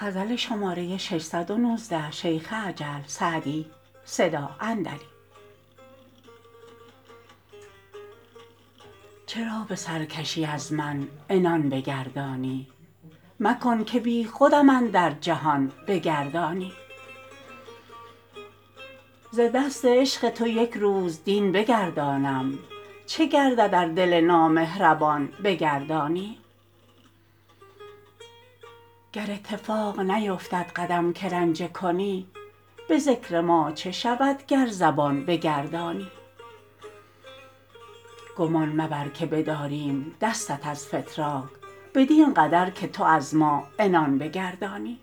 چرا به سرکشی از من عنان بگردانی مکن که بیخودم اندر جهان بگردانی ز دست عشق تو یک روز دین بگردانم چه گردد ار دل نامهربان بگردانی گر اتفاق نیفتد قدم که رنجه کنی به ذکر ما چه شود گر زبان بگردانی گمان مبر که بداریم دستت از فتراک بدین قدر که تو از ما عنان بگردانی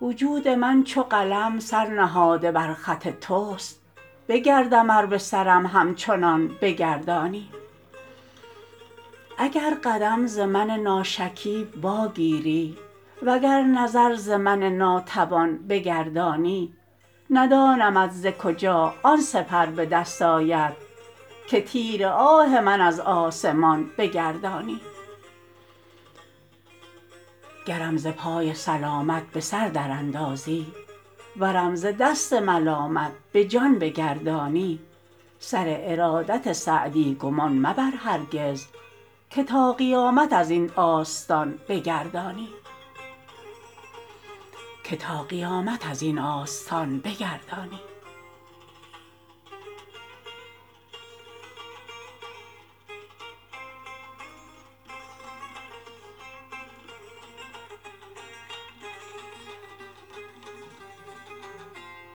وجود من چو قلم سر نهاده بر خط توست بگردم ار به سرم همچنان بگردانی اگر قدم ز من ناشکیب واگیری و گر نظر ز من ناتوان بگردانی ندانمت ز کجا آن سپر به دست آید که تیر آه من از آسمان بگردانی گرم ز پای سلامت به سر در اندازی ورم ز دست ملامت به جان بگردانی سر ارادت سعدی گمان مبر هرگز که تا قیامت از این آستان بگردانی